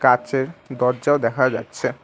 কাঁচের দরজাও দেখা যাচ্ছে।